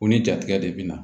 U ni jatigɛ de bɛ na